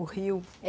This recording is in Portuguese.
O rio? é